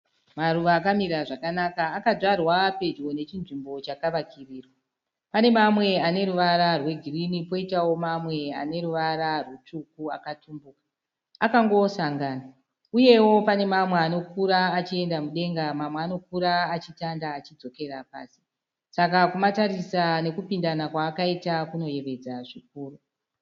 Maruva akamira zvakanaka. Akadzvarwa pedyo nechinzvimbo chakavakirirwa. Pane mamwe ane ruvara rwegirinhi poitawo mamwe ane ruvara rutsvuku akatumbuka. Akangosangana uye pane mamwe anokura achienda mudenga mamwe anokura achitanda achidzokera pasi. Saka kumatarisa nekupindana kwaakaita kunoyevedza zvikuru